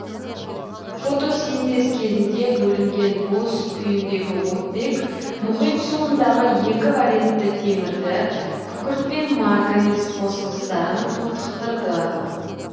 фотосинтез кезінде бөлінген бос күйіндегі оттек мұхит суындағы екі валентті темірді күкірт пен марганец қосылыстарын тотықтырды